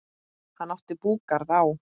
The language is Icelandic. Hann átti búgarð á